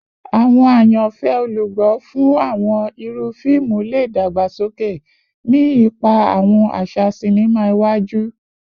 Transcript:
Awọn ayanfẹ olugbo fun awọn iru fiimu le dagbasoke, ni ipa awọn aṣa sinima iwaju